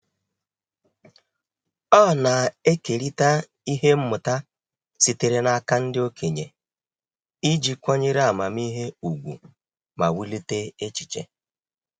Ọ na-ekerịta ihe mmụta sitere n'aka ndị okenye iji kwanyere amamihe ùgwù ma wulite echiche.